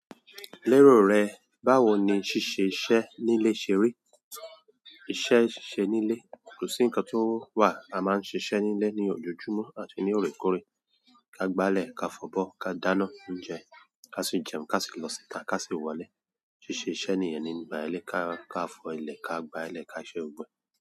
Lérò rẹ, báwo ni ṣíṣe iṣẹ́ nílé ṣe rí? Iṣẹ́ ṣíṣe nílé, kòsí nǹkan tó wà, a máa ń ṣiṣẹ́ nílé ní ojojúmọ́ àti ní orekoreè. Ka gba ilẹ̀ ka fọ̀ bọ̀, ka dáná, ń jẹ, ká sì jẹun, ká sì lọ síta, ká sì wọlé. Ṣíṣe iṣẹ́ nìyẹn ní mbà ẹlẹ́ ka, ka fọ ilẹ̀, ka gba ilẹ̀, ka ṣẹ gbogbo e.